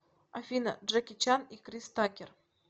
афина джеки чан и крис такер